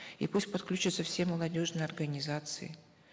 и пусть подключатся все молодежные организации